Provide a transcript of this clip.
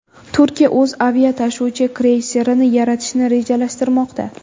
Turkiya o‘z aviatashuvchi kreyserini yaratishni rejalashtirmoqda.